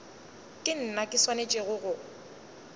ke nna ke swanetšego go